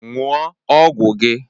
Ṅụọ ọgwụ gị!